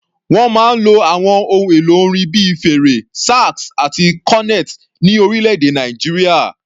Wọ́n máa ń lo àwọn ohun èlò orin bíi fèrè, sax àti cornet ní orílẹ̀-èdè Nàìjíríà.